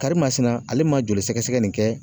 Karimasina ,ale ma joli sɛgɛsɛgɛ nin kɛ